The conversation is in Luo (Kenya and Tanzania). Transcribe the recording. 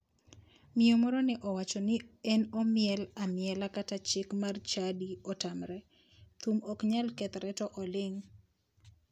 Miyo moro ne owacho ni en omiel amiela kata chik mar chadi otamore, thum ok nyal kethre to oling'.